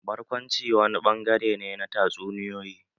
Barkwanci wani ɓangare ne na tatsuniyoyi.